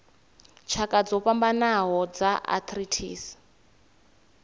tshakha dzo fhambanaho dza arthritis